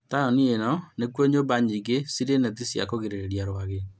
Taũni inĩ nĩkuo nyũmba nyingĩ cirĩ neti cia kũgirĩrĩria rwagĩ